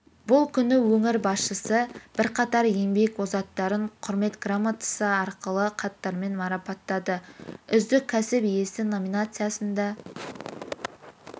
бұл күні өңір басшысы бірқатар еңбек озаттарын құрмет грамотасы алғыс хаттармен марапаттады үздік кәсіп иесі номинациясында